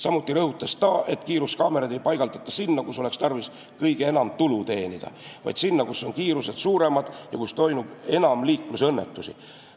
Samuti rõhutas ta, et kiiruskaameraid ei paigaldata sinna, kus oleks tarvis kõige enam tulu teenida, vaid sinna, kus kiirused on suuremad ja kus toimub enam liiklusõnnetusi.